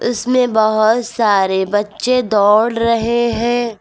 इसमें बहुत सारे बच्चे दौड़ रहे हैं।